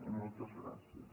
i moltes gràcies